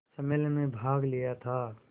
सम्मेलन में भाग लिया था